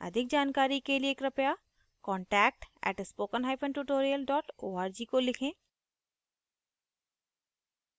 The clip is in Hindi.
अधिक जानकारी के लिए कृपया contact @spokentutorial org को लिखें